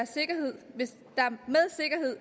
sikkerhed